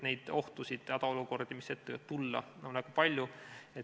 Neid ohtusid, hädaolukordi, mida ette võib tulla, on väga palju.